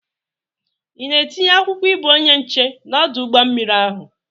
Ị na-etinye akwụkwọ ịbụ onye nche n'ọdụ ụgbọ mmiri ahụ?